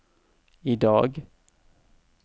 idag